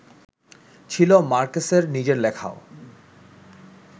ছিলো মার্কেসের নিজের লেখাও